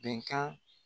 Bɛnkan